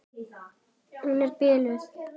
Hún er biluð!